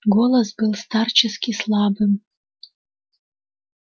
голос был старчески слабым